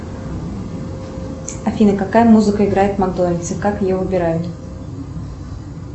афина какая музыка играет в макдональдсе как ее выбирают